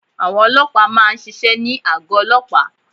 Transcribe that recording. Àwọn olóòpá má a nsisé ní àgọ́ olóòpá